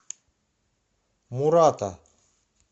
мурата